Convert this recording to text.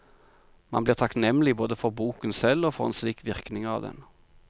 Man blir takknemlig både for boken selv og for en slik virkning av den.